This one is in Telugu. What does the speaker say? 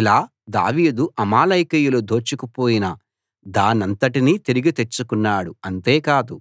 ఇలా దావీదు అమాలేకీయులు దోచుకు పోయిన దానంతటినీ తిరిగి తెచ్చుకున్నాడు అంతేకాదు